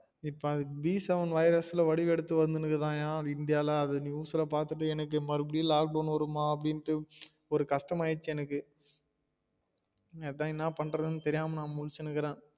இப்ப b seven virus ல வடிவம் எடுத்து வந்திருக்குதாம்யா இந்தியால அது news பாத்திட்டு எனக்கு மறுபடியும் lock down வருமா அப்டிண்டு ஒரு கஷ்டம் ஆகிருச்சு எனக்கு அதான் என்ன பண்றதுன்னு தெரியாம்மா முழிச்சிட்டு இருக்குறேன்